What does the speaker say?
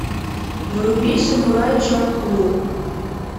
вруби самурай чамплу